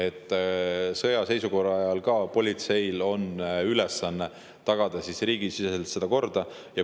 Ka sõjaseisukorra ajal on politsei ülesanne tagada riigis kord.